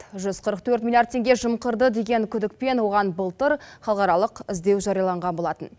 жүз қырық төрт миллиард теңге жымқырды деген күдікпен оған былтыр халықаралық іздеу жарияланған болатын